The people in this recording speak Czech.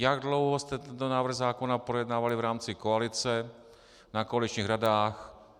Jak dlouho jste tento návrh zákona projednávali v rámci koalice na koaličních radách?